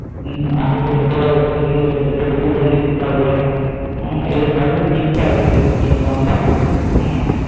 হম আর একটা ছোট্ট করে বোতল কিনবো সেটাতে glucon d দিতে হবে। হুম, এগুলো সবই লিখতে হবে কি কিনবো আমরা